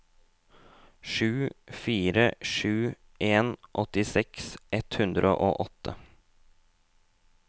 sju fire sju en åttiseks ett hundre og åtte